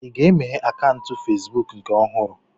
Ị ga-emeghe akaụntụ Fesbụụk nke ọhụrụ?